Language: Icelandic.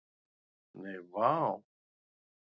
Nei, vá.